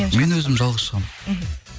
мен өзім жалғыз шығамын мхм